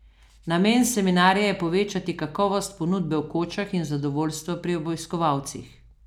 Namen seminarja je povečati kakovost ponudbe v kočah in zadovoljstvo pri obiskovalcih.